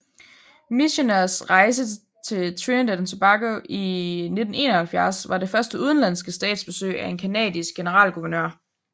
Micheners rejse til Trinidad og Tobago i 1971 var det første udenlandske statsbesøg af en canadisk generalguvernør